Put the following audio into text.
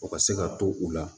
O ka se ka to u la